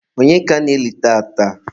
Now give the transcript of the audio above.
onye ka ana-eli tata?